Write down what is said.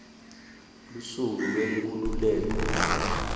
lusuku lwenkhululeko